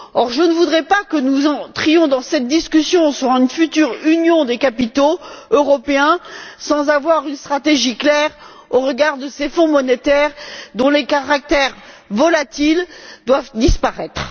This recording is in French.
Or, je ne voudrais pas que nous abordions cette discussion sur une future Union des capitaux européens sans avoir une stratégie claire au regard de ces fonds monétaires, dont les caractères volatiles doivent disparaître.